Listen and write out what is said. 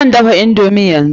Zan dai dafa indomi yanzu.